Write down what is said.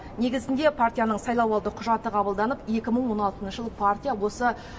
негізінде партияның сайлауалды құжаты қабылданып екі мың он алтыншы жылы партия осы